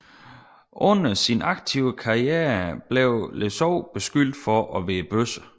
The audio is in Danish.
Under sin aktive karriere blev Le Saux beskyldt for at være bøsse